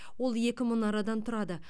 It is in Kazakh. ол екі мұнарадан тұрады